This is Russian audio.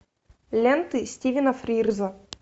ленты стивена фрирза